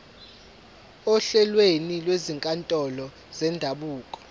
ohlelweni lwezinkantolo zendabuko